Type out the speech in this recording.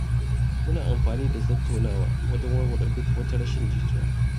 Muna amfani da tattaunawa wajen warware duk wata rashin jituwa.